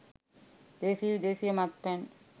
දේශීය විදේශීය මත්පැන්